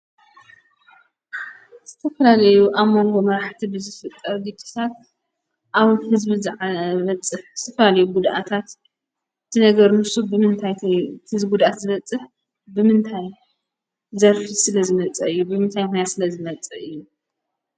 ዝተፈላለዩ ኣብ መንጎ መራሕቲ ብዝፍጠር ግጭታት ኣብ ሕዝቢ ዝበጽሕ ዝተፈላለዩ ጕድኣታት ዝነገርን ዝስጉምን ብምንታይ እዩ እዚ ጕዳት ዝበጽሕ ብምንታይ ዘርፊ ስለ ዝመፀ እዩ፣ ብምንታይ ምክንያት ስለ ዝመፅእ እዩ?